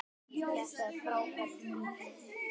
Þetta er frábær bíll.